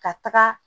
Ka taga